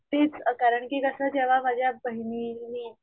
तीच कि जेव्हा माझ्या बहिणींनी,